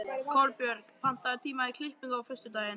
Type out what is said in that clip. Kolbjörg, pantaðu tíma í klippingu á föstudaginn.